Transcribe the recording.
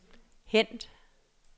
hent